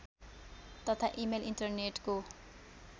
तथा इमेल इन्टरनेटको